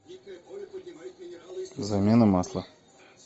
замена масла